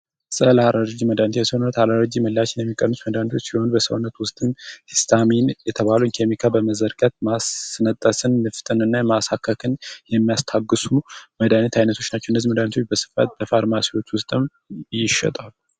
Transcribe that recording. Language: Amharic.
ፀረ-አለርጂ መድኃኒቶች የሰውነትን ለአለርጂ ምላሽ የሚቀንሱ መድኃኒቶች ናቸው። በሰውነት ውስጥ ሂስታሚን የተባለውን ኬሚካል በመዝጋት ማስነጠስን፣ ንፍጥን እና ማሳከክን ያስታግሳሉ። በስፋት ይሸጣሉ